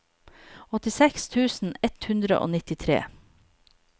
åttiseks tusen ett hundre og nittitre